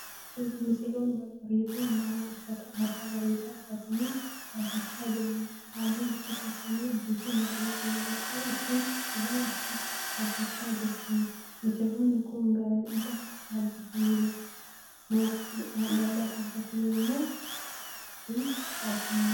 Suuraa misirroonni babbareedoon lama uffata aadaa bareedaa uffatanii dhaabbachaa jiraniidha. Halluun uffata isaanii adii fi magariisa yammuu ta'uu isheen dura isaa dhaabbachaa jirti. Misirroonni kun gaa'ila dhaabbataniiru moo hin dhaabbanne?